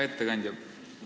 Hea ettekandja!